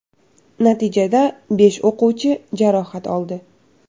Natijada besh o‘quvchi jarohat oldi.